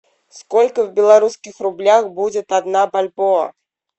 сколько в белорусских рублях будет одна бальбоа